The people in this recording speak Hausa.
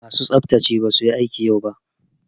Masu tsaftsace basu yi aiki yau ba.